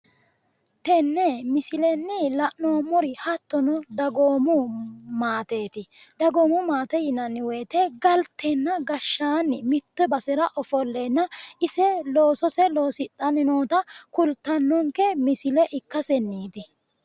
tenne misilenni la'noommori hattono dagoomu maateeti dagoomu maate yinanni woyiite galtenna gashshaanni mitte basera ofolleenna ise loosose loosidhanni noota kultannonke misile ikkasenniiti